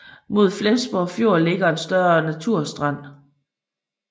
Mod Flensborg Fjord ligger en større naturstrand